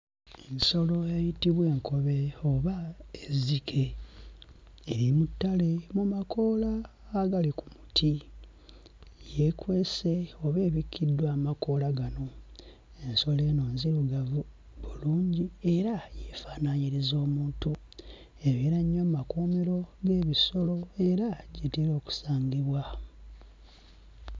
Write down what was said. Ensolo eyitibwa enkobe oba ezzike, eri mu ttale mu makoola agali ku muti yeekwese oba ebikiddwa amakoola gano. Ensolo eno nzirugavu bulungi era yeefanaanyiriza omuntu, ebeera nnyo mmakuumiro g'ebisolo era gy'etera okusangibwa.